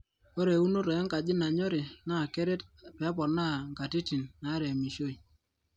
ore eunoto enkaji nanyori naa keret peponaa nkatitin naaremishoi